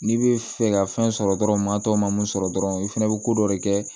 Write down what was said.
N'i bɛ fɛ ka fɛn sɔrɔ dɔrɔn matɔ ma mun sɔrɔ dɔrɔn i fɛnɛ bɛ ko dɔ de kɛ